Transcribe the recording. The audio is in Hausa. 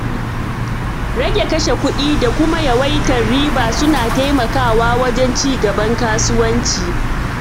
Rage kashe kuɗi da kuma yawaitar riba suna taimakawa wajen ci gaban kasuwanci.